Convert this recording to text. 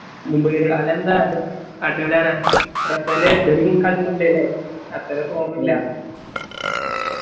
Mumbai Russell കളിച്ചിണ്ട് ലെ അത്ര Form ഇല്ല